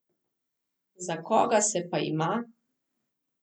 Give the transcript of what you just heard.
Za koga se pa ima?